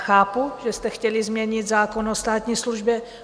Chápu, že jste chtěli změnit zákon o státní službě.